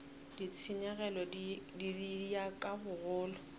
ditshenyegelo di ya ka bogolo